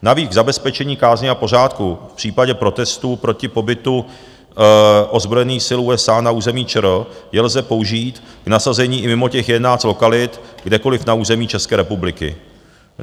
Navíc k zabezpečení kázně a pořádku v případě protestů proti pobytu ozbrojených sil USA na území ČR je lze použít k nasazení i mimo těch 11 lokalit, kdekoliv na území České republiky.